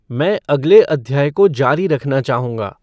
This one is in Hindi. मैं अगले अध्याय को जारी रखना चाहूँगा